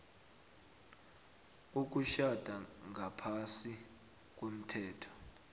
ukutjhada ngaphasi komthetho